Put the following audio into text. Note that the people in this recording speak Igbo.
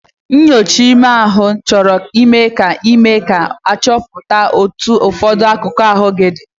Nnyocha ime ahụ Ị chọrọ ime ka eme ka achọpụta otu ụfọdụ akụkụ ahụ gị dị.